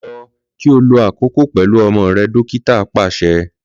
Lọ ki o lo akoko pẹlu ọmọ rẹ dokita paṣẹ.